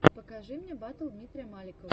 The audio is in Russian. покажи мне батл дмитрия маликова